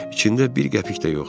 İçində bir qəpik də yoxdu.